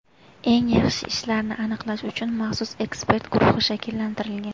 Eng yaxshi ishlarni aniqlash uchun maxsus ekspert guruhi shakllantirilgan.